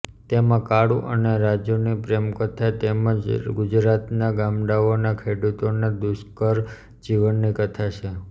તેમાં કાળુ અને રાજુની પ્રેમકથા તેમજ ગુજરાતના ગામડાઓના ખેડૂતોના દુષ્કર જીવનની કથા છે